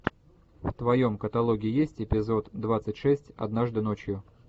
в твоем каталоге есть эпизод двадцать шесть однажды ночью